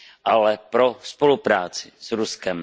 ale pro spolupráci s Ruskem.